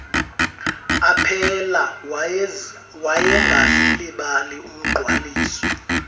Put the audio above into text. aphela wayengazilibali umgqwaliso